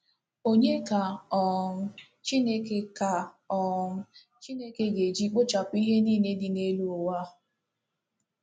Ònye ka um Chineke ka um Chineke ga-eji ‘ kpochapụ ihe niile dị n’elu ụwa ’?